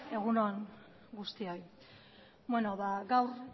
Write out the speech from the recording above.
egun on guztioi gaur